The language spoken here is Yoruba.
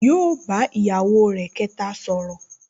Yóò bá ìyàwó kẹta rẹ̀ sọ̀rọ̀